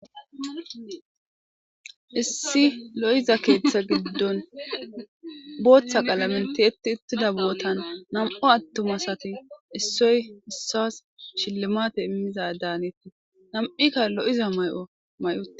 Issi lo7iza keetha giddon botha qalamen tiyegida uttifa bottan namu atuma issoy issuwas shilimate imiza danetes namiyka loiza maliza mayo mayi uttida